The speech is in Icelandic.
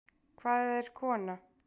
Hvað er kona?